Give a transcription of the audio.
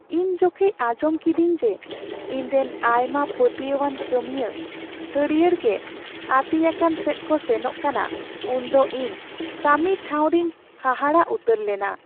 ᱤᱧ ᱡᱚᱠᱷᱮᱡ ᱟᱸᱡᱚᱢ ᱠᱤᱫᱟᱹᱧ ᱡᱮ ᱤᱧ ᱨᱮᱱ ᱟᱭᱢᱟ ᱯᱟᱹᱛᱭᱟᱣ ᱟᱱ ᱠᱟᱹᱢᱤᱭᱟᱹ ᱦᱟᱹᱨᱭᱟᱹᱲ ᱜᱮ ᱟᱹᱛᱤᱧᱟᱠᱟᱱ ᱥᱮᱫ ᱠᱚ ᱥᱮᱱᱚᱜ ᱠᱟᱱᱟ ᱩᱱ ᱫᱚ ᱤᱧ ᱠᱟᱹᱢᱤ ᱴᱷᱟᱶᱨᱤᱧ ᱦᱟᱦᱟᱲᱟᱜ ᱩᱛᱟᱹᱨ ᱞᱮᱱᱟ ᱾